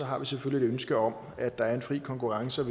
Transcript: har vi selvfølgelig et ønske om at der er en fri konkurrence og